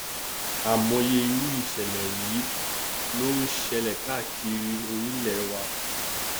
àìmọye irú ìṣẹlẹ yìí ló nṣẹlẹ káàkiri orílẹ wa